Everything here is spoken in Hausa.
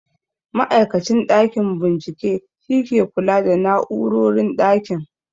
Ma'aikacin ɗakin bincike shi ke kula da na'urorin ɗakin